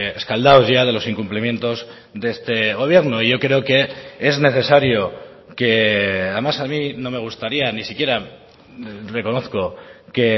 escaldados ya de los incumplimientos de este gobierno yo creo que es necesario que además a mí no me gustaría ni siquiera reconozco que